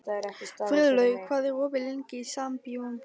Friðlaug, hvað er opið lengi í Sambíóunum?